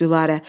Gülarə!